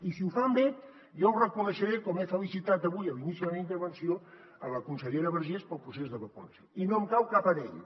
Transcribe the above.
i si ho fan bé jo ho reconeixeré com he felicitat avui a l’inici de la meva intervenció la consellera vergés pel procés de vacunació i no em cau cap anell